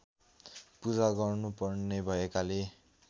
पूजा गर्नुपर्ने भएकाले